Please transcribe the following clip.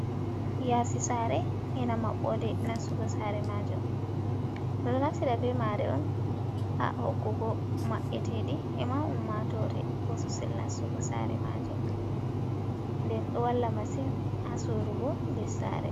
Yasi sare ena maɓɓode nassugo sare majum. Ɓeɗo naftira bemare on ha hokkugo maɓɓetedi e ma ummatore bososel nassugo sare majum. nden ɗo walla masin hasorugo ndessare.